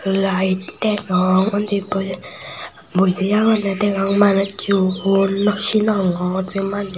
iyot layed degong undi buj buji agonde degong manucchun nosinogor se manujo.